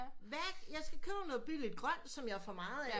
Hvad jeg skal købe noget billigt grønt som jeg får meget af